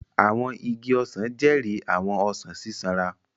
Àwọn igi ọsan jẹri àwọn ọsan sisanra.